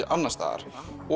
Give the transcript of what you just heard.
alls staðar